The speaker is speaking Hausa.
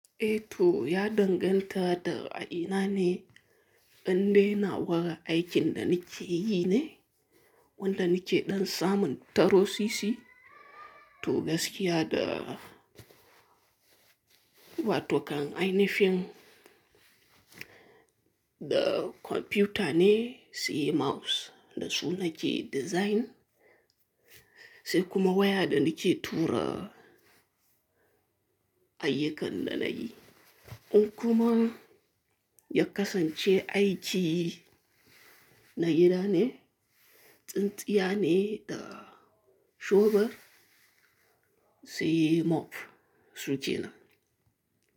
Eh to ya danganta da a ina ne an dai nawa aikin da nike yi ne, wanda nike ɗan samun taro si si, to gaskiya da wato kan ainifin da kwamfuta ne, si mouse da su nake design sai kuma waya da nike tura ayyukan da nayi. In kuma ya kasance aiki na gida ne, tsintsiya ne da shofar sai mop suke nan.